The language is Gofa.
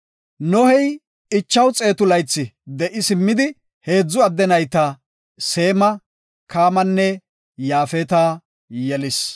Nohey 500 laythi de7i simmidi heedzu adde nayta Seema, Kaamanne Yaafeta yelis.